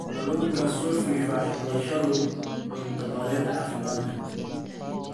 Kalluunka Swordfish waa xulasho cunto badeed caafimaad leh.